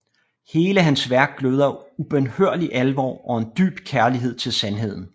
Hele hans værk gløder af ubønhørlig alvor og en dyb kærlighed til sandheden